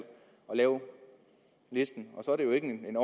lave listen og så er det jo ikke en